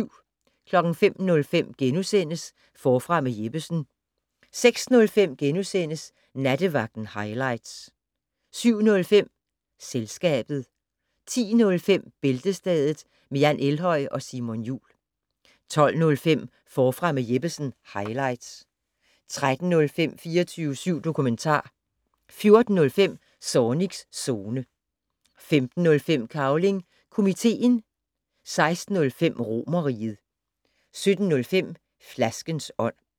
05:05: Forfra med Jeppesen * 06:05: Nattevagten highlights * 07:05: Selskabet 10:05: Bæltestedet med Jan Elhøj og Simon Jul 12:05: Forfra med Jeppesen - highlights 13:05: 24syv dokumentar 14:05: Zornigs Zone 15:05: Cavling Komiteen 16:05: Romerriget 17:05: Flaskens ånd